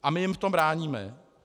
A my jim v tom bráníme.